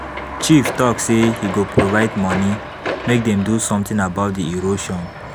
Chief talk say he go provide money make dem do something about the erosion.